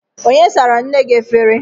Onye sara nne gị efere?